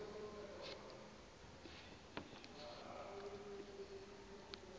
isebe